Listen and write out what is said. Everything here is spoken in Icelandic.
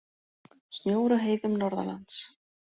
Snjór á heiðum norðanlands